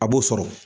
A b'o sɔrɔ